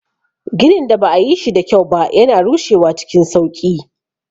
Ginin da ba a yi shi da kyau ba yana rushewa cikin sauƙi.